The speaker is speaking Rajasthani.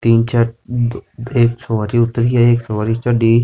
तीन चार एक सवारी उत्तर रही है एक सवारी चढ़ी।